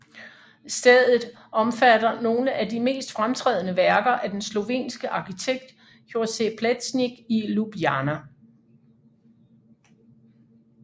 Stedet omfatter nogle af de mest fremtrædende værker af den slovenske arkitekt Jože Plečnik i Ljubljana